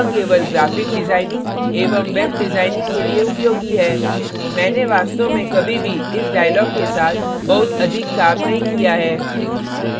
यह केवल graphic designing एवं web डिजाइनिंग के लिए उपयोगी है मैंने वास्तव में कभी भी इस dialog के साथ बहुत अधिक काम नहीं किया है